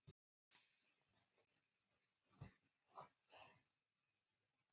Reynsla mín var allt önnur.